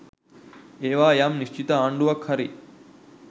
ඒවා යම් නිශ්චිත ආණ්ඩුවක් හරි